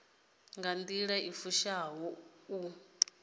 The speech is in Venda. nga nḓila i fushaho u